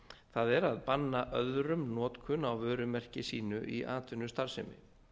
það er að banna öðrum notkun á vörumerki sínu í atvinnustarfsemi